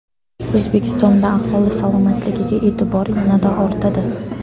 O‘zbekistonda aholi salomatligiga e’tibor yanada ortadi.